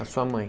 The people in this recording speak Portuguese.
A sua mãe.